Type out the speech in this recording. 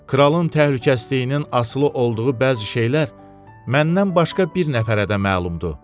Kralın təhlükəsizliyinin asılı olduğu bəzi şeylər məndən başqa bir nəfərə də məlumdur.